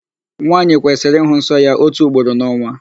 Nwaanyị kwesịrị ịhụ nsọ ya ótù ugboro n'ọnwa.